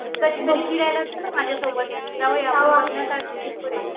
माझ्यासोबत जाऊया पुढे